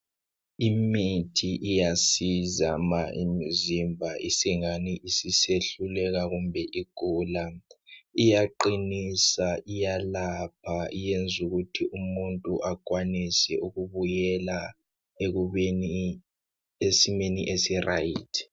Imithi iyasiza ma imzimba isingani isisehluleka kumbe igula .Iyaqinisa iyalapha yenzu kuthi umuntu akwanise ukubuyela ekubeni esimeni esiright.